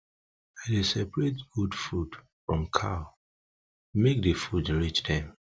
i dey separate goat food from cow make de food reach dem